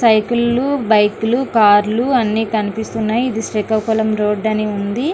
సైకిల్లో బైకులు కార్లు అన్ని కనిపిస్తూ ఉన్నాయి ఇది శ్రీకాకుళం రోడ్డు అని ఉంది.